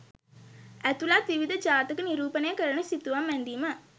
ඇතුළත් විවිධ ජාතක නිරූපණය කරන සිතුවම් ඇඳීම